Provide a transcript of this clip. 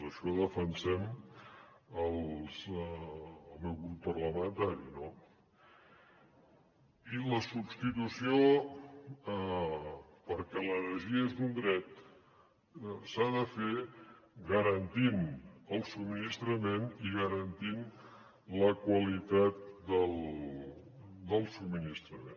això defensem el meu grup parlamentari no i la substitució perquè l’energia és un dret s’ha de fer garantint el subministrament i garantint la qualitat del subministrament